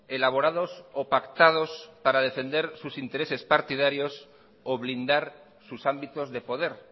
elaborados o pactados para defender sus intereses partidario o blindar sus ámbitos de poder